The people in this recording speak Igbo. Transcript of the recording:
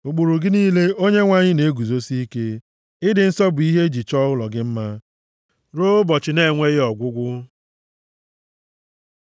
Ụkpụrụ gị niile, Onyenwe anyị na-eguzosi ike; ịdị nsọ bụ ihe e ji chọọ ụlọ gị mma ruo ụbọchị na-enweghị ọgwụgwụ.